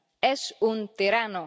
Es un tirano.